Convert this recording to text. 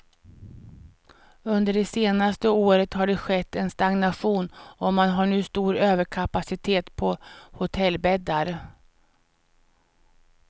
Under det senaste året har det skett en stagnation och man har nu stor överkapacitet på hotellbäddar.